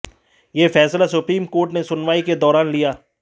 ये फैसला supreme court ने सुनवाई के दौरान लिया